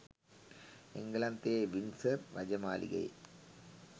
එන්ගලන්තයේ Windsor රජමාලිගයේ